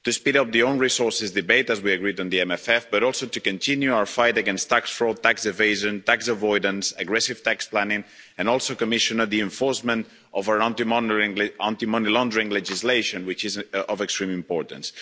To speed up the own resources debate, as we agreed on the MFF, but also to continue our fight against tax fraud, tax evasion, tax avoidance, aggressive tax planning and also, Commissioner, the enforcement of our anti money laundering legislation, which is of extreme importance.